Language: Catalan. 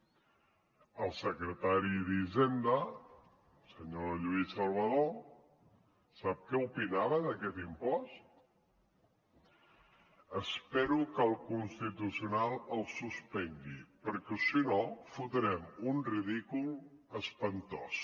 sí el secretari d’hisenda el senyor lluís salvadó sap què opinava d’aquest impost espero que el constitucional el suspengui perquè si no fotrem un ridícul espantós